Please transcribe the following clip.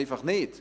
Sonst nicht.